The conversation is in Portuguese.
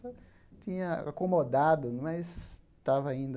tinha acomodado, mas estava ainda...